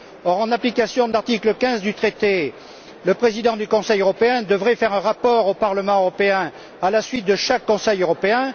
Or, en application de l'article15 du traité, le président du Conseil européen devrait faire un rapport au Parlement européen à la suite de chaque Conseil européen.